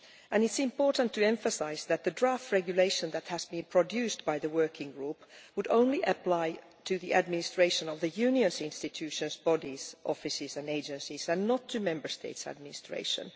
And it is important to emphasise that the draft regulation which has been produced by the working group would apply only to the administration of the Union's institutions, bodies, offices and agencies, and not to Member States' administration.